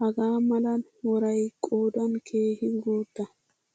hagaa mala worayi qoodan keehi guutta.